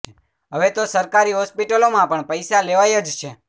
હવે તો સરકારી હોસ્પિટલોમાં પણ પૈસા લેવાય જ છે